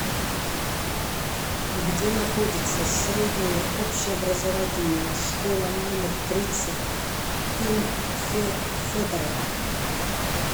где находится средняя общеобразовательная школа номер тридцать им фе федорова